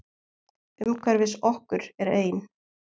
Umhverfis okkur er ein